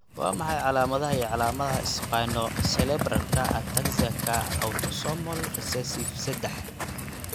Waa maxay calaamadaha iyo calaamadaha Spinocerebellarka ataxiaka autosomal recessive sedax?